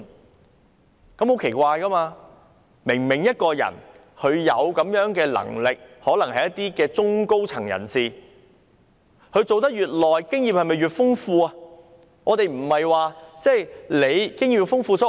這樣是很奇怪的，明明一個人有這樣的能力，他們可能是中、高層人士，而當他們的工作年資越長，經驗不就越豐富嗎？